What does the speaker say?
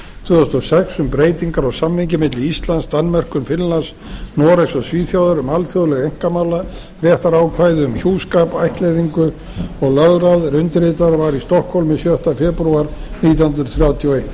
tvö þúsund og sex um breytingar á samningi milli íslands danmerkur finnlands noregs og svíþjóðar um alþjóðleg einkamálaréttarákvæði um hjúskap ættleiðingu og lögráð er undirritaður var í stokkhólmi sjötta febrúar nítján hundruð þrjátíu og eitt